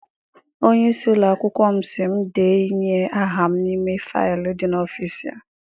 Onye isi ụlọakwụkwọ m sị m de nye aha m n'ime faịlu dị n'ọfịịsi ya.